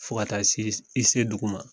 Fo ka taa se, i se dugu ma.